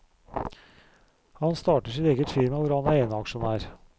Han starter sitt eget firma hvor han er eneaksjonær.